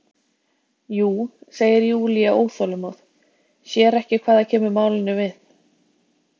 Jú, segir Júlía óþolinmóð, sér ekki hvað það kemur málinu við.